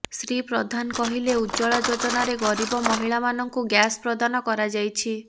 ଶ୍ରୀ ପ୍ରଧାନ କହିଲେ ଉଜ୍ଜ୍ବଳା ଯୋଜନାରେ ଗରିବ ମହିଳାମାନଙ୍କୁ ଗ୍ୟାସ୍ ପ୍ରଦାନ କରାଯାଇଛି